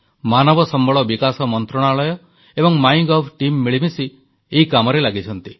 ମାନବ ସମ୍ବଳ ବିକାଶ ମନ୍ତ୍ରଣାଳୟ ଏବଂ ମାଇଁ ଗଭ ଟିମ୍ ମିଳିମିଶି ଏହି କାମରେ ଲାଗିଛନ୍ତି